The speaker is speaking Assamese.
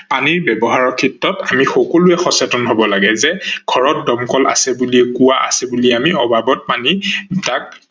পানী ব্যৱহাৰৰ ক্ষেত্ৰত আমি সকলোৱে সচেতন হব লাগে যে ঘৰত দমকল আছে বুলিয়ে আমি অবাবত পানী